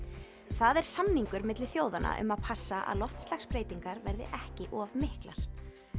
það er samningur milli þjóðanna um að passa að loftslagsbreytingar verði ekki of miklar